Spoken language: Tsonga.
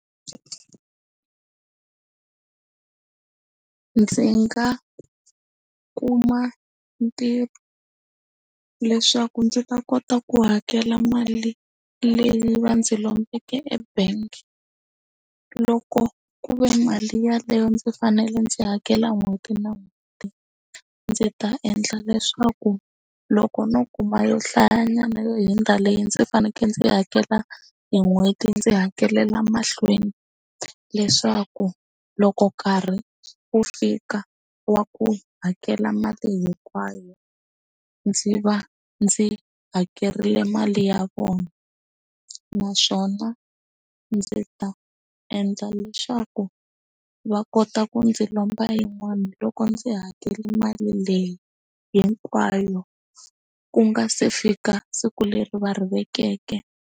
Ndzi nga kuma ntirho leswaku ndzi ta kota ku hakela mali leyi va ndzi lombeke ebank loko ku ve mali yeleyo ndzi fanele ndzi hakela n'hweti na n'hweti ndzi ta endla leswaku loko no kuma yo hlaya nyana yo hundza leyi ndzi fanekele ndzi hakela hi n'hweti ndzi hakelela mahlweni leswaku loko karhi wu fika wa ku hakela mali hinkwayo ndzi va ndzi hakerile mali ya vona naswona ndzi ta endla leswaku va kota ku ndzi lomba yin'wana loko ndzi hakela mali leyi hinkwayo ku nga se fika siku leri va ri vekiweke.